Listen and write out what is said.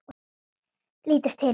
Lítur til hans.